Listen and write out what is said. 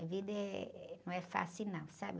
A vida não é, não é fácil, não, sabe?